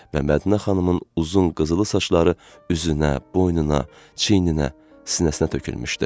Və Mədinə xanımın uzun qızılı saçları üzünə, boynuna, çiyninə, sinəsinə tökülmüşdü.